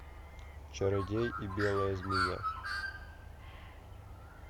чародей и белая змея